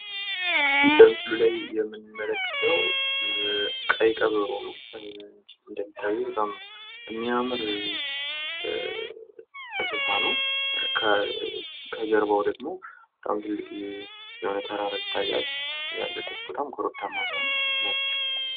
በምስሉ ላይ የምንመለከተው ቀይ ቀበሮ ነው። እንደምታዩት በጣም የሚያምር እንስሳት ነው ከጀርባው ደግሞ በጣም ትልቅ የሆነ ተራራ ይታያል ፤ያለበት ቦታም ኮረብታማ መሆኑን ማየት እንችላለን።